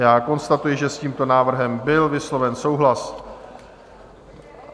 Já konstatuji, že s tímto návrhem byl vysloven souhlas.